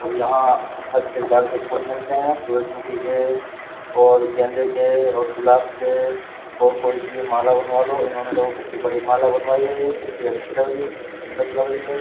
और यहाँ हर प्रकार के फूल मिलते हैं सूरजमुखी के और गेंदे के और गुलाब के और कोई सी भी माला बनवा लो इन्होंने देखो कितनी बड़ी माला बनवाई है ये कितनी अच्छी लग रही है कितनी सुंदर लग रही है।